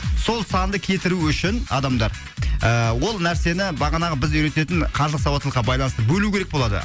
сол санды кетіру үшін адамда ы ол нәрсені бағанағы біз үйрететін қаржылық сауаттылыққы байланысты бөлу керек болады